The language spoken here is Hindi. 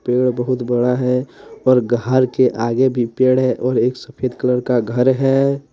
पेड़ बहुत बड़ा है और घर के आगे भी पेड़ है और एक सफेद कलर का घर है।